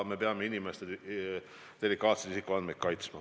Me peame inimeste delikaatseid isikuandmeid kaitsma.